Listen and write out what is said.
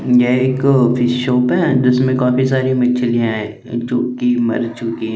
ये एक वी फिश शॉप है जिसमे काफी सारी मिछिलिया जो की मर चुकी है।